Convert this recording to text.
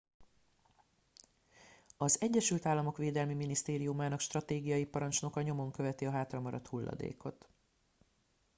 az egyesült államok védelmi minisztériumának stratégiai parancsnoka nyomon követi a hátramaradt hulladékot